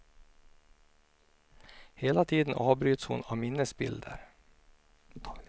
Hela tiden avbryts hon av minnesbilder.